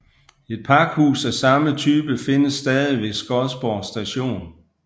Et pakhus af samme type findes stadig ved Skodsborg Station